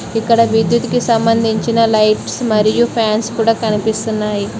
ఇక్కడ విద్యుత్ కి సంబంధించిన లైట్స్ మరియు ఫాన్స్ కూడా కనిపిస్తున్నాయి.